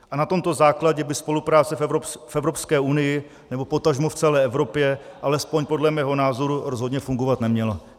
A na tomto základě by spolupráce v Evropské unii, nebo potažmo v celé Evropě, alespoň podle mého názoru rozhodně fungovat neměla.